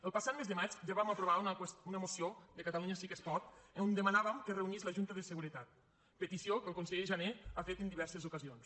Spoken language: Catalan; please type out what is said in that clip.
el passat mes de maig ja vam aprovar una moció de catalunya sí que es pot on demanàvem que es reunís la junta de seguretat petició que el conseller jané ha fet en diverses ocasions